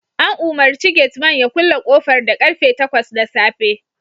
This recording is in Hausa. An umarci gate Man ya kulle kofar da karfe takwas na safe